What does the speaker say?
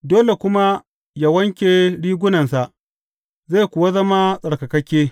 Dole kuma yă wanke rigunansa, zai kuwa zama tsarkakakke.